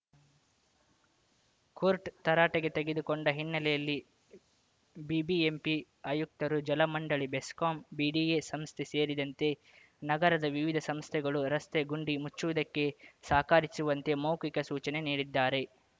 court ತರಾಟೆಗೆ ತೆಗೆದುಕೊಂಡ ಹಿನ್ನೆಲೆಯಲ್ಲಿ ಬಿಬಿಎಂಪಿ ಆಯುಕ್ತರು ಜಲಮಂಡಳಿ ಬೆಸ್ಕಾಂ ಬಿಡಿಎ ಸಂಸ್ಥೆ ಸೇರಿದಂತೆ ನಗರದ ವಿವಿಧ ಸಂಸ್ಥೆಗಳು ರಸ್ತೆ ಗುಂಡಿ ಮುಚ್ಚುವುದಕ್ಕೆ ಸಹಕಾರಿಸುವಂತೆ ಮೌಖಿಕ ಸೂಚನೆ ನೀಡಿದ್ದಾರೆ